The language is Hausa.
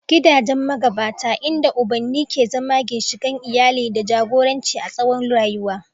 Gidajen magabata, inda ubanni ke zama ginshiƙan iyali da jagoranci a tsawon rayuwa.